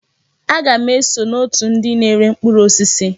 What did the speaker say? Aga m eso n'otù ndị na-ere mkpụrụ osisi.